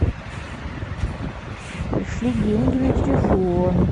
пришли деньги на телефон